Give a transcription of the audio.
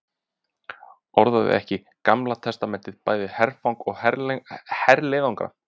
Orðaði ekki Gamla testamentið bæði herfang og herleiðangra?